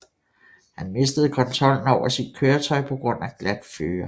Han mistede kontrollen over sit køretøj på grund af glat føre